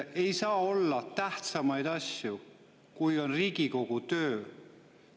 Ei saa olla tähtsamaid asju, kui on Riigikogu töö.